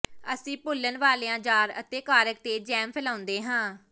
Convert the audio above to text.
ਅਸੀਂ ਭੁੰਲਨ ਵਾਲੀਆਂ ਜਾਰ ਅਤੇ ਕਾਰ੍ਕ ਤੇ ਜੈਮ ਫੈਲਾਉਂਦੇ ਹਾਂ